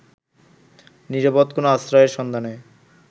নিরাপদ কোনো আশ্রয়ের সন্ধানে